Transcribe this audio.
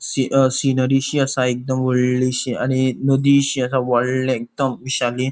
सी अ सिनरीशी आसा एकदम वोडलीशी आणि नदीशी असा वोडले एकदम विशाली.